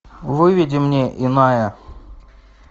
выведи мне иная